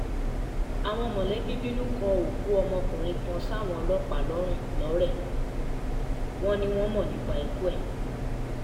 àwọn mọ̀lẹ́bí bínú kó òkú ọmọkùnrin kan sáwọn ọlọ́pàá lọ́run lọ́rẹ́ wọn ni wọ́n mọ̀ nípa ikú ẹ̀